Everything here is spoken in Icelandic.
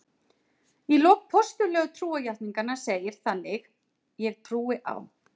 Í lok Postullegu trúarjátningarinnar segir þannig: Ég trúi á.